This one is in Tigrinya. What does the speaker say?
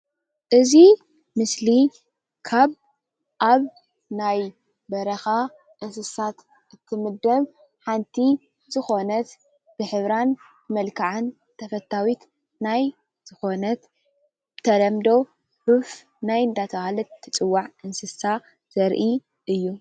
እዚ ምስሊ ካብ አብ ናይ በረኻ እንስሳት እትምደብ ሓንቲ ዝኮነት ብሕብራን መልክዓን ተፈታዊት ናይ ዝኮነት ብተለምዶ ዑፍ ናይ እንዳተባሃለት ትፅዋዕ እንስሳ ዘርኢ እዩ ።